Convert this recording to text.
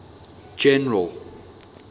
general